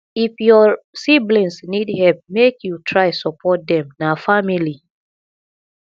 if your siblings need help make you try support dem na family